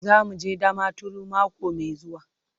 Za mu je Damaturu mako mai zuwa.